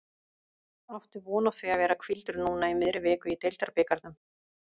Áttu von á því að vera hvíldur núna í miðri viku í deildabikarnum?